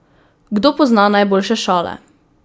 Kdo pozna najboljše šale?